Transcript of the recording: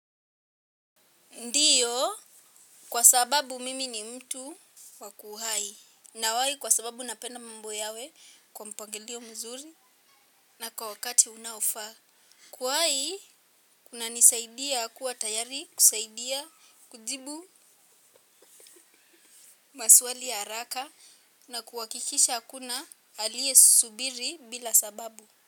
Ndiyo kwa sababu mimi ni mtu wa kuwahi nawahi kwa sababu napenda mambo yawe kwa mpangilio mzuri na kwa wakati unaofaa. Kuwahi kunanisaidia kuwa tayari kusaidia kujibu maswali ya haraka na kuhakikisha hakuna aliye subiri bila sababu.